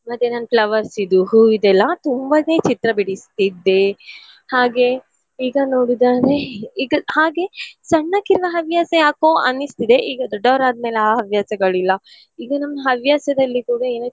ಮತ್ತೆ ನಾನ್ flowers ಇದ್ದು ಹೂವಿದೆಲ್ಲಾ ತುಂಬನೇ ಚಿತ್ರ ಬಿಡಿಸ್ತಿದ್ದೆ. ಹಾಗೆ ಈಗ ನೋಡುದಾದ್ರೆ ಈಗ ಹಾಗೆ ಸಣ್ಣಕಿನ್ನ ಹವ್ಯಾಸ ಯಾಕೋ ಅನಿಸ್ತದೆ ಈಗ ದೊಡ್ಡವರಾದ್ಮೇಲೆ ಅ ಹವ್ಯಾಸಗಳಿಲ್ಲ ಈಗ ನಮ್ಮ್ ಹವ್ಯಾಸದಲ್ಲಿ ಕೂಡ ಏನೋ.